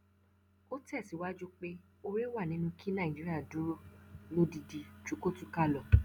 ó tẹsíwájú pé oore wà nínú kí nàìjíríà dúró lódidi ju kó túká lọ